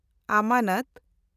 ᱟᱢᱟᱱᱚᱛ